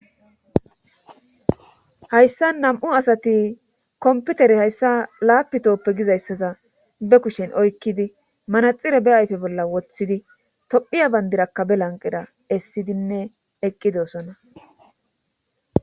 Hayssan nam7u asati hayssa komppitere hayssa lapitooppe gizayssaza be kushen oykkidi manaxxire be ayfe bolla wothidi tophya banddirakka be lanqqerakka essidinne eqqidoosona